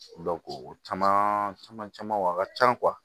o caman caman camanw a ka can